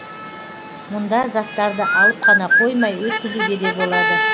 мұнда заттарды алып қана қоймай өткізуге де болады